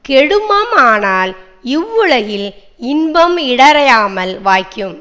கெடுமானால் இவ் வுலகில் இன்பம் இடையறாமல் வாய்க்கும்